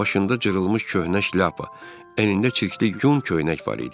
Başında cırılmış köhnə şlapa, əynində çirkli yun köynək var idi.